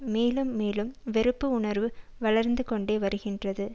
மேலும் மேலும் வெறுப்பு உணர்வு வளர்ந்துகொண்டே வருகின்றது